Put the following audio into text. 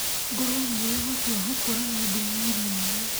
Ngũrũe nĩ ĩrĩ ũhoti wa gũkũũrana thũmũ irio-inĩ.